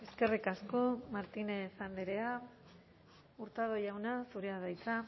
eskerrik asko martínez andrea hurtado jauna zurea da hitza